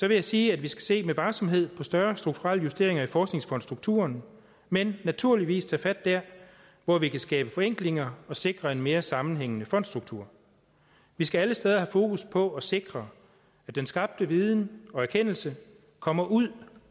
jeg sige at vi skal se med varsomhed på større strukturelle justeringer i forskningsfondsstrukturen men naturligvis tage fat der hvor vi kan skabe forenklinger og sikre en mere sammenhængende fondsstruktur vi skal alle steder have fokus på at sikre at den skabte viden og erkendelse kommer ud